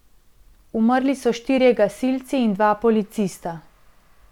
Umrli so štirje gasilci in dva policista.